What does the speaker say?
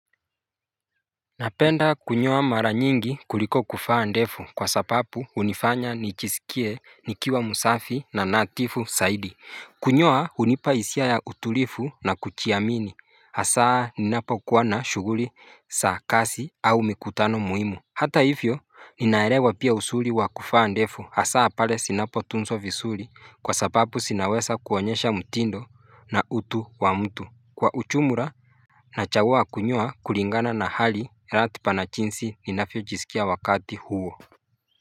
Napenda kunyoa mara nyingi kuliko kufaa ndefu kwa sapapu hunifanya nijisikie nikiwa musafi na natifu saidi Kunyoa hunipa hisia ya utulifu na kuchiamini hasaa ninapokuwa na shuguri saa kasi au mikutano muimu Hata hivyo ninaerewa pia usuli wa kufaa ndefu hasaa pale sinapo tunzwa visuli kwa sapapu sinawesa kuonyesha mtindo na utu wa mtu Kwa uchumura na chagua kunyoa kulingana na hali ratipa na chinsi ninafyojisikia wakati huo.